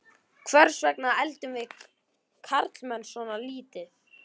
Hvers vegna eldum við karlmenn svona lítið?